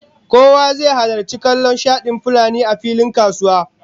Kowa zai halarci kallon shadin fulanin a filin kasuwa